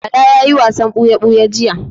Bala ya yi wasan buya-buya jiya.